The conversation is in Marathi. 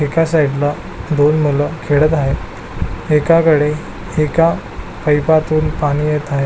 एका साइड ला दोन मुल खेळत आहेत एकाकडे एका पईपा तून पाणी येत आहे.